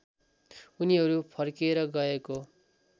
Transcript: उनीहरू फर्केर गएको